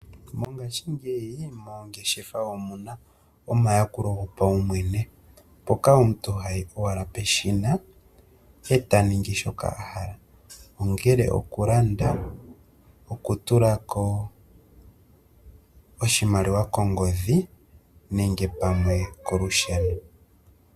Mongashingeyi moongeshefa omuna omayakulo gopaumwene. Mpoka omuntu hayi owala peshina eta ningi shoka ahala. Ongele oku landa, oku tulako oshimaliwa kongodhi nenge pamwe kolusheno.